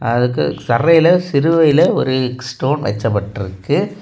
அதுக்கு தரையில சிலுவையில ஒரு ஸ்டோன் வைக்கப்பட்டுருக்கு.